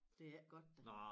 Det ikke godt da